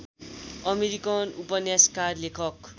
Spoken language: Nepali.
अमेरिकन उपन्यासकार लेखक